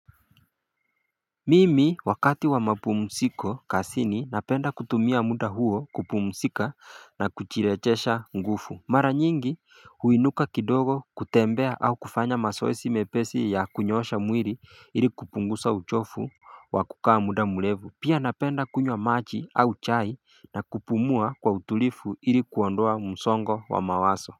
Mimi wakati wa mapumuziko kazini napenda kutumia muda huo kupumuzika na kujirejesha nguvu Mara nyingi huinuka kidogo kutembea au kufanya mazoezi mepesi ya kunyoosha mwili ili kupunguza uchovu wa kukaa muda murefu Pia napenda kunywa maji au chai na kupumua kwa utulivu ili kuondoa msongo wa mawazo.